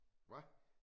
Hva?